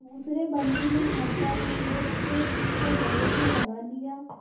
दूसरे बंदी ने हर्षातिरेक से उसको गले से लगा लिया